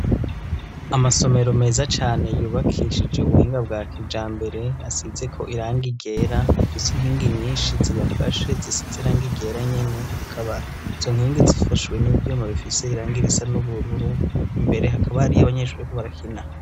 Amasomero meza cane yubakishije ubuhinga bwa kijambere ,asize ko iranga iryera ,afise inkingi inyinshi ziyafashe zisiz'irang ryera nyene ,akaba izo nkingi zifashwe n'ivyuma bifise irangi risa n'ubururu, imbere hakaba hariy'abanyeshuri barako barakina.